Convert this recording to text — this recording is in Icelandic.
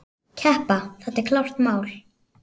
Keppa, það er klárt mál.